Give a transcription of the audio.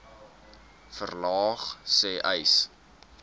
verlaag sê uys